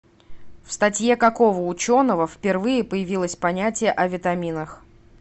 в статье какого ученого впервые появилось понятие о витаминах